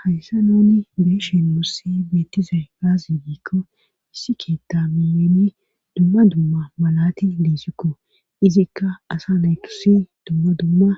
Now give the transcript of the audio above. hayssa nooni beeshen mussi beettise gaazi giikko issikeeta miyeni dumma dumma malatti liisikko izikka asa naykusi dumma dumma